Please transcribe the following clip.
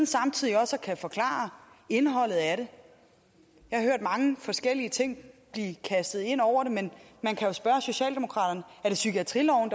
samtidig også kan forklare indholdet af det jeg har hørt mange forskellige ting blive kastet ind over det men man kan jo spørge socialdemokraterne er det psykiatriloven